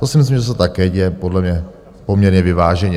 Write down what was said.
To si myslím, že se také děje podle mě poměrně vyváženě.